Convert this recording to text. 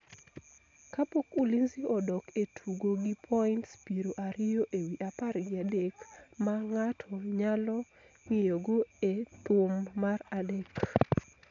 kapok Ulinzi odok e tugo gi points piero ariyo ewi apar gi adek ma ng�ato nyalo ng�iyogo e thum mar adek.